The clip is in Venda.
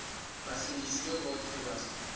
vha sengisi vhe vhoṱhe vha